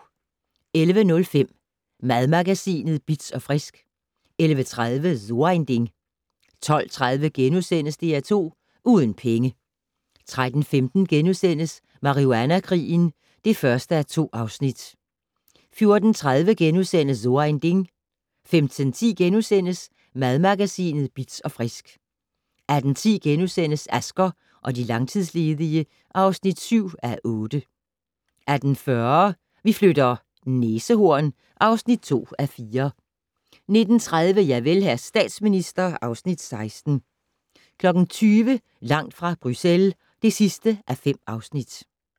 11:05: Madmagasinet Bitz & Frisk 11:30: So ein Ding 12:30: DR2 Uden penge * 13:15: Marihuana-krigen (1:2)* 14:30: So ein Ding * 15:10: Madmagasinet Bitz & Frisk * 18:10: Asger og de langtidsledige (7:8)* 18:40: Vi flytter - næsehorn (2:4) 19:30: Javel, hr. statsminister (Afs. 16) 20:00: Langt fra Bruxelles (5:5)